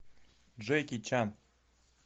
джеки чан